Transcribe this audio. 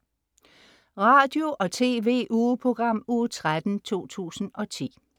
Radio- og TV-ugeprogram Uge 13, 2010